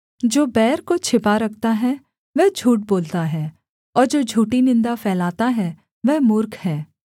जो बैर को छिपा रखता है वह झूठ बोलता है और जो झूठी निन्दा फैलाता है वह मूर्ख है